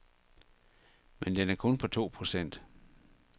Men den er kun på to procent.